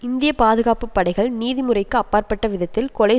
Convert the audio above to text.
இந்திய பாதுகாப்பு படைகள் நீதிமுறைக்கு அப்பாற்பட்ட விதத்தில் கொலை